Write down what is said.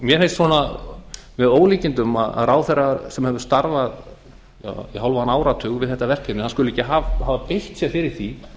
mér finnst með ólíkindum að ráðherra sem hefur starfað í hálfan áratug við þetta verkefni skuli ekki hafa beitt sér fyrir því